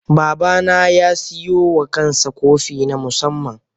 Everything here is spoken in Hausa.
Baba na ya siyo wa kansa kofi na musamman.